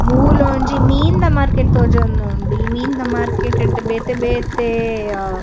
ಮೂಲೊಂಜಿ ಮೀನ್‌ನ ಮಾರ್ಕೆಟ್‌ ತೋಜೋಂದುಂಡು ಈ ಮೀನ್‌ದ ಮಾರ್ಕೆಟ್ಡ್‌ ಬೇತೆ ಬೇತೆ.